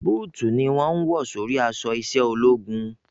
Bóòtù ni wọ́n ń wọ̀ sórí aṣọ iṣẹ́ ológun